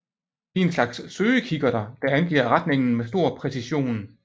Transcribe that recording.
De er en slags søgekikkerter der angiver retningen med stor præcision